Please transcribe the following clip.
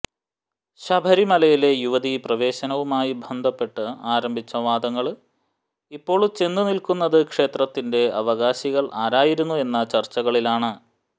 ശബരിമലയിലെ യുവതി പ്രവേശനവുമായി ബന്ധപ്പെട്ട് ആരംഭിച്ച വാദങ്ങള് ഇപ്പോള് ചെന്നു നില്ക്കുന്നത് ക്ഷേത്രത്തിന്റെ അവകാശികള് അരായിരുന്നു എന്ന ചര്ച്ചകളിലാണ്